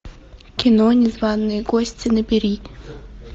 кино незваные гости набери